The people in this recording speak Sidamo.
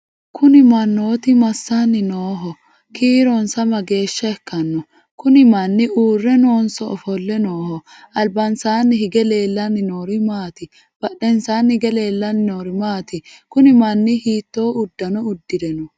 kuni mannooti massanni nooho? kiironsa mageeshsha ikkanno? kuni manni uurre noonso ofolle nooho? albansaanni hige leellanni noori maati? badhensanni hige leellanni noori maati? kuni manni hiitto uddano uddire no?